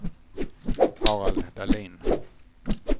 Harald Dahlin